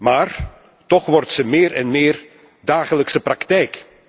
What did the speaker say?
Maar toch wordt deze meer en meer dagelijkse praktijk.